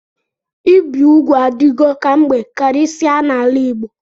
Ịbi ụgwụ adigọ kamgbe karisia n'ala Igbo.